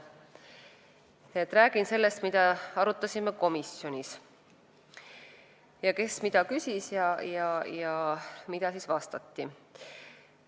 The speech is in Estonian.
Räägin lühidalt sellest, mida arutasime komisjonis, kes mida küsis ja mida vastati.